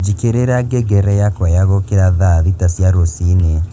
njikĩrira ngengere yakwa ya gũũkĩra thaa thita cia rũciini